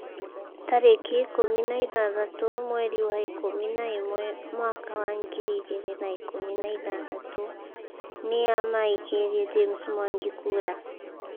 Tarĩki ikũmi na ithathatũ mweri wa ikũmi na ĩmwe mwaka wa ngiri igĩrĩ na ikũmi na ithathatũ, Nĩa maikĩirie James Mwangi kura?